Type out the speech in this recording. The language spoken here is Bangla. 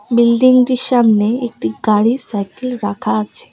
বিল্ডিং -টির সামনে একটি গাড়ি সাইকেল রাখা আছে।